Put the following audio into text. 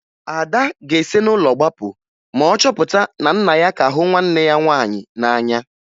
Ada ga-esi n'ụlọ gbapụ ma ọ chọpụta na nna ya ka hụ nwanne ya nwaanyị n'anya